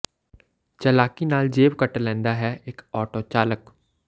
ਚਲਾਕੀ ਨਾਲ ਜੇਬ ਕੱਟ ਲੈਂਦਾ ਹੈ ਇਕ ਆਟੋ ਚਾਲਕ